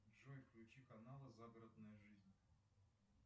джой включи канал загородная жизнь